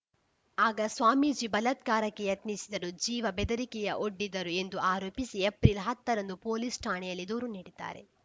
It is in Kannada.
ಆಗ ಸ್ವಾಮೀಜಿ ಬಲತ್ಕಾರಕ್ಕೆ ಯತ್ನಿಸಿದರು ಜೀವ ಬೆದರಿಕೆ ಒಡ್ಡಿದರು ಎಂದು ಆರೋಪಿಸಿ ಏಪ್ರಿಲ್‌ ಹತ್ತರಂದು ಪೊಲೀಸ್‌ ಠಾಣೆಯಲ್ಲಿ ದೂರು ನೀಡಿದ್ದಾರೆ